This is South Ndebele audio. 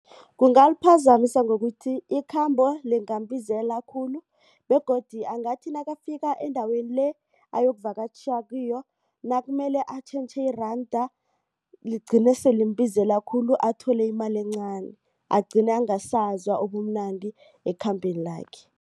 Kungaliphazamisa ngokuthi ikhambo lingambizela khulu begodu angathi nakafika endaweni le ayokuvakatjha kiyo nakumele atjhentjhe iranda ligcine sele limbizela khulu athole imali encani agcine angasazwa ubumnandi ekhambeni lakhe.